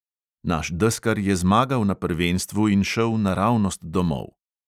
Naš deskar je zmagal na prvenstvu in šel naravnost domov.